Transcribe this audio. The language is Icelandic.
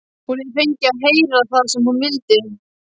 Hún hefur fengið að heyra það sem hún vildi.